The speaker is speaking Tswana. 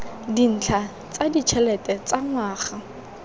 dintlha tsa ditšhelete tsa ngwaga